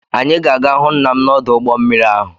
Anyị ga-aga hụ nna m n'ọdụ ụgbọ mmiri ahụ.